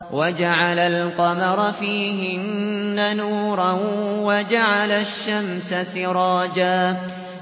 وَجَعَلَ الْقَمَرَ فِيهِنَّ نُورًا وَجَعَلَ الشَّمْسَ سِرَاجًا